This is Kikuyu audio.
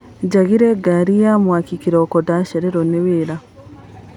Njagire ngari ya mwaki kĩroko ndacererwo nĩwĩra.